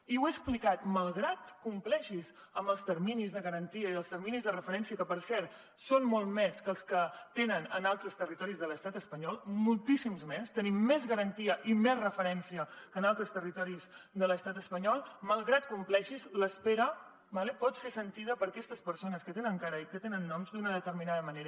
i ho he explicat malgrat que compleixis amb els terminis de garantia i amb els terminis de referència que per cert són molts més dels que tenen en altres territoris de l’estat espanyol moltíssims més tenim més garantia i més referència que en altres territoris de l’estat espanyol malgrat que compleixis l’espera pot ser sentida per aquestes persones que tenen cara i tenen noms d’una determinada manera